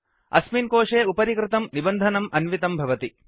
अस्मिन् कोशे उपरि कृतं निबन्धनम् अन्वितं भवति